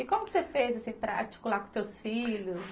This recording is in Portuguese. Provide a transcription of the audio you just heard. E como você fez para articular com os teus filhos?